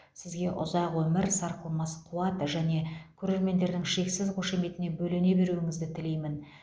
сізге ұзақ өмір сарқылмас қуат және көрермендердің шексіз қошеметіне бөлене беруіңізді тілеймін